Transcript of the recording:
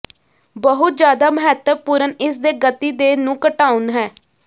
ਬਹੁਤ ਜਿਆਦਾ ਮਹੱਤਵਪੂਰਨ ਇਸ ਦੇ ਗਤੀ ਦੇ ਨੂੰ ਘਟਾਉਣ ਹੈ